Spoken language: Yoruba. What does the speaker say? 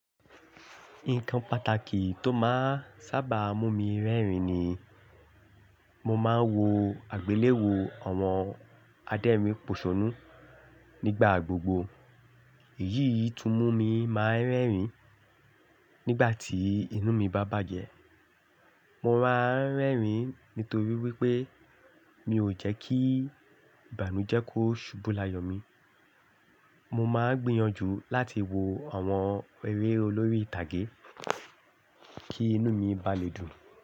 Nǹkan pàtàkì tó máa ń sábà mú mi rẹ́rìn-ín ni mo máa ń wo àgbéléwò àwọn adérinpòṣónú nígbà gbogbo. Èyí tún mú mi máa ń rẹ́rìn-ín nígbà tí inú mi bá bàjẹ́. Mo máa ń rẹ́rìn-ín nítorí wípé mi ò jẹ́ kí ìbànújẹ́ kó ṣubú láyọ̀ mi. Mo máa ń gbìyànjú láti wo àwọn eré olórí ìtàgé kí inú mi bá lè dùn.